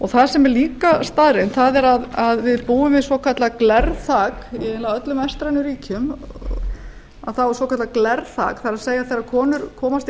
það sem er líka staðreynd það er að við búum við svokallað glerþak í eiginlega öllum vestrænum ríkjum þá er svokallað glerþak það er þegar konur komast í